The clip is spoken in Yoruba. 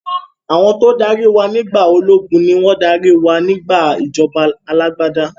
Àwọn tó dárí wá nígbà ológun ni wọn tún dárí wá nígbà ìjọba alàgbàda